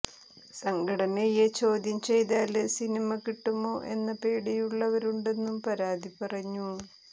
സംഘടനയെ ചോദ്യം ചെയ്താല് സിനിമ കിട്ടുമോ എന്ന പേടിയുള്ളവരുണ്ടെന്നും പാര്വതി പറഞ്ഞു